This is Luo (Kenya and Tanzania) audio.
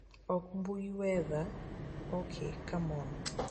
ok mbui weather ok come on